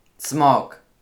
Cmok!